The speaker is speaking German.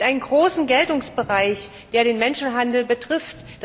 Es gibt einen großen Geltungsbereich, der den Menschenhandel betrifft.